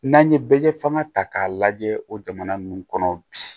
N'an ye bɛɛ kɛ fanga ta k'a lajɛ o jamana ninnu kɔnɔ bi